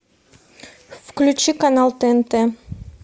включи канал тнт